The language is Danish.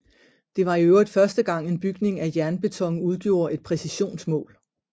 Det var i øvrigt første gang en bygning af jernbeton udgjorde et præcisionsmål